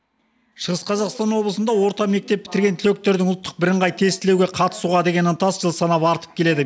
шығыс қазақстан облысында орта мектеп бітірген түлектердің ұлттық бірыңғай тестілеуге қатысуға деген ынтасы жыл санап артып келеді